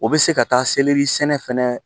O bɛ se ka taa selɛri sɛnɛ fana